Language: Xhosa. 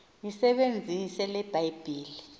yisebenzise le bhayibhile